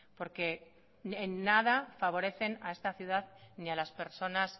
porque en nada favorecen a esta ciudad ni a las personas